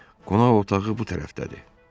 Qonaq otağı bu tərəfdədir.